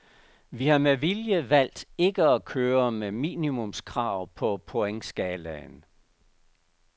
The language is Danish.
Vi har med vilje valgt ikke at køre med minimumskrav på pointskalaen.